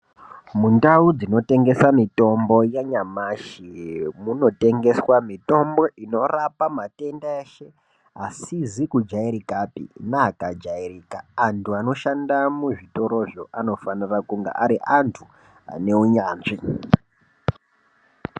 Mundau dzinotengesa mitombo yanyamashi munotengeswa mutombo inorapa matenda eshe asizi kujairika neaakajairika antu anoshanda muzvitorozvo anofanira kunge ari antu ane unyanzvi.